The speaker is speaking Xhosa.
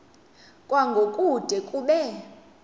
kwango kude kube